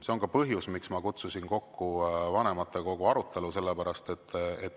See on ka põhjus, miks ma kutsusin kokku vanematekogu arutelu.